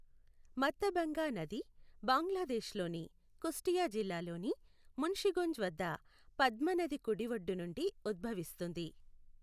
మత్థభంగా నది బంగ్లాదేశ్లోని కుష్ఠియా జిల్లాలోని మున్షిగొంజ్ వద్ద పద్మ నది కుడి ఒడ్డు నుండి ఉద్భవిస్తుంది.